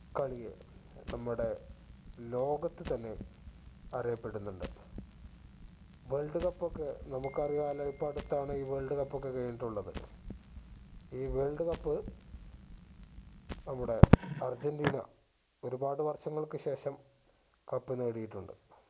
wold cup ഒക്കെ നമുക്ക് അറിയാലോ ഇപ്പോ അടുത്താണ് ഈ world cup ഒക്കെ കഴിഞ്ഞിട്ടുള്ളത് ഈ world cup നമ്മുടെ അർജന്റീന ഒരുപാട് വർഷങ്ങൾക്ക് ശേഷം cup നേടിയിട്ടുണ്ട്